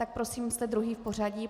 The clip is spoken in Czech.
Tak prosím, jste druhý v pořadí.